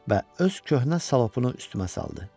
Və öz köhnə şalapunu üstümə saldı.